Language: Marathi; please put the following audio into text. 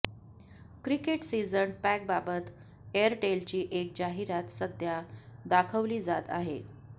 क्रिकेट सीझन पॅकबाबत एअरटेलची एक जाहिरात सध्या दाखवली जात आहे